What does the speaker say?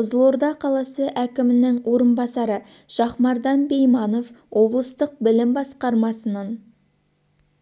қызылорда қаласы әкімінің орынбасары шахмардан байманов облыстық білім басқармасының